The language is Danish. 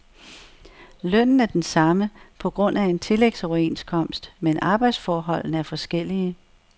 Lønnen er den samme på grund af en tillægsoverenskomst, men arbejdsforholdene er forskellige.